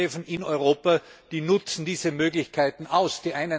Die Flughäfen in Europa nutzen diese Möglichkeiten aus.